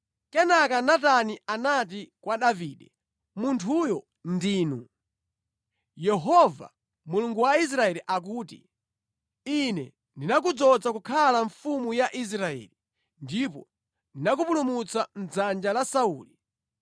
Kenaka Natani anati kwa Davide, “Munthuyo ndinu! Yehova, Mulungu wa Israeli akuti, ‘Ine ndinakudzoza kukhala mfumu ya Israeli, ndipo ndinakupulumutsa mʼdzanja la Sauli.